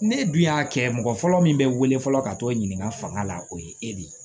Ne dun y'a kɛ mɔgɔ fɔlɔ min bɛ wele fɔlɔ ka t'o ɲininka fanga la o ye e de ye